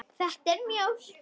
Þetta er mjólk.